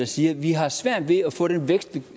siger vi har svært ved at få den vækst vi